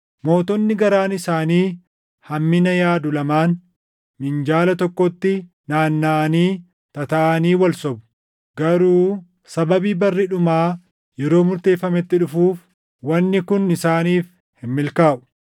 Mootonni garaan isaanii hammina yaadu lamaan minjaala tokkotti naannaʼanii tataaʼanii wal sobu; garuu sababii barri dhumaa yeroo murteeffametti dhufuuf wanni kun isaaniif hin milkaaʼu.